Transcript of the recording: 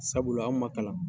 Sabula anw ma kalan